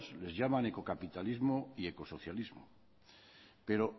les llaman ecocapitalismo y ecosocialismo pero